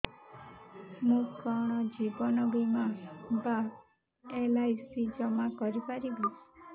ମୁ କଣ ଜୀବନ ବୀମା ବା ଏଲ୍.ଆଇ.ସି ଜମା କରି ପାରିବି